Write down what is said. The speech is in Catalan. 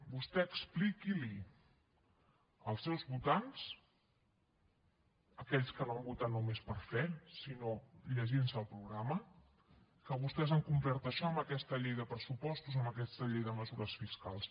vostè expliqui’ls als seus votants aquells que no han votat només per fe sinó llegint se el programa que vostès han complert això en aquesta llei de pressupostos en aquesta llei de mesures fiscals